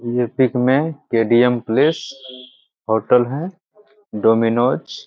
ये पिक में KDM. Place hotel है डोमिनोस --